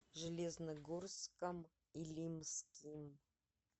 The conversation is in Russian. железногорском илимским